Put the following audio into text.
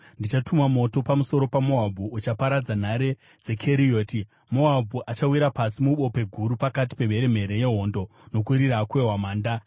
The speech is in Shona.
Ndichatuma moto pamusoro paMoabhu uchaparadza nhare dzeKerioti. Moabhu achawira pasi mubope guru pakati pemheremhere yehondo, nokurira kwehwamanda.